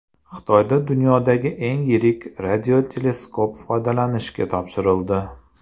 Xitoyda dunyodagi eng yirik radioteleskop foydalanishga topshirildi.